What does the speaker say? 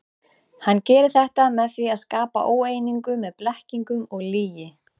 Hann gerir þetta með því að skapa óeiningu með blekkingum og lygi.